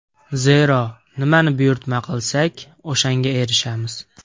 Zero, nimani buyurtma qilsak o‘shanga erishamiz.